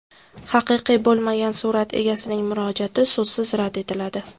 Haqiqiy bo‘lmagan surat egasining murojaati so‘zsiz rad etiladi.